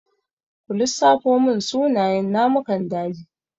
Ku lissafo mun sunayen namukan daji?